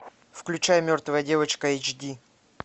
включай мертвая девочка эйч ди